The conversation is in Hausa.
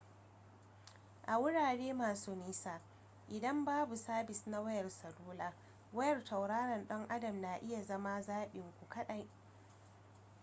a wurare masu nisa idan babu sabis na wayar salula wayar tauraron dan adam na iya zama zaɓin ku kaɗai